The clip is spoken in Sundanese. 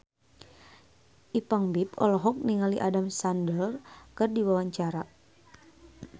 Ipank BIP olohok ningali Adam Sandler keur diwawancara